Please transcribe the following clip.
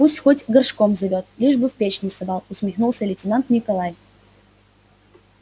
пусть хоть горшком зовёт лишь бы в печь не совал усмехнулся лейтенант николай